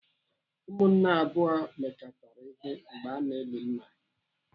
Ụmụnne abụọ mekọtara ihe mgbe ana eli nna ha.